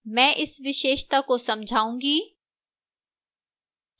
मैं इस विशेषता को समझाऊंगी